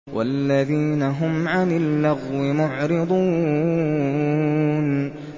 وَالَّذِينَ هُمْ عَنِ اللَّغْوِ مُعْرِضُونَ